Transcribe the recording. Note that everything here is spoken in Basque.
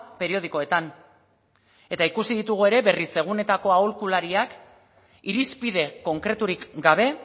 periodikoetan eta ikusi ditugu ere berritzeguneetako aholkulariak irizpide konkreturik gabe